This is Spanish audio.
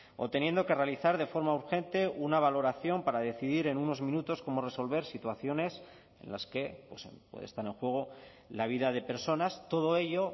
o teniendo que realizar de forma urgente una valoración para decidir en unos minutos cómo resolver situaciones en las que puede estar en juego la vida de personas todo ello